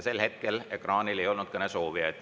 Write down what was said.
Sel hetkel ekraanil ei olnud kõnesoove.